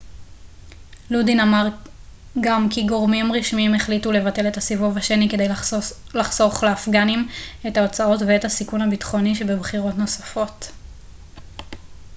לודין אמר גם כי גורמים רשמיים החליטו לבטל את הסיבוב השני כדי לחסוך לאפגנים את ההוצאות ואת הסיכון הביטחוני שבבחירות נוספות